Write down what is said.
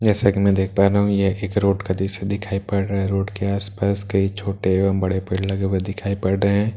जैसा कि मैं देख पा रहा हूं यह एक रोड का दृश्‍य दिखाई पड़ रहा है रोड आस-पास कई छोटे एवं बड़े पेड़ लगे हुए दिखाई पड़ रहे हैं ।